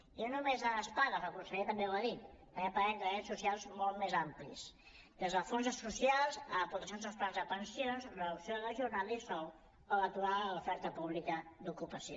i no només de les pagues el conseller també ho ha dit també parlem de drets socials molts més amplis des dels fons socials a aportacions als plans de pensions reducció de la jornada i sou o l’aturada de l’oferta pública d’ocupació